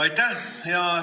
Aitäh!